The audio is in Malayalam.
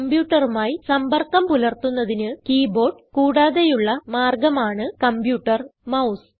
കംപ്യൂട്ടറുമായി സമ്പർക്കം പുലർത്തുന്നതിന് കീബോർഡ് കൂടാതെയുള്ള മാർഗം ആണ് കമ്പ്യൂട്ടർ മൌസ്